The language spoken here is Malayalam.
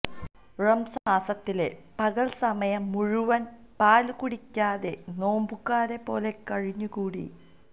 റമസാന് മാസത്തിലെ പകല് സമയം മുഴുവന് പാലുകുടിക്കാതെ നോമ്പുകാരെപ്പോലെ കഴിഞ്ഞു കൂടി